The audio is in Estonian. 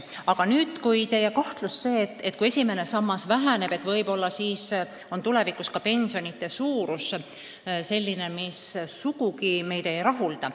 Aga nüüd teie kahtlusest, et kui esimese samba summad vähenevad, siis võib-olla on tulevikus pensionide suurus selline, mis meid sugugi ei rahulda.